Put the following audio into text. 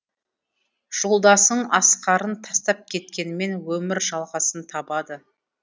жолдасың асқарын тастап кеткенімен өмір жалғасын табады